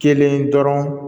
Kelen dɔrɔn